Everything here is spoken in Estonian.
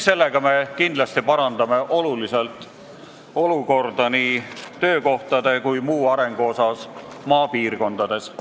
Sellega me kindlasti parandaksime oluliselt olukorda nii töökohtade olemasolu kui muu arengu osas maapiirkondades.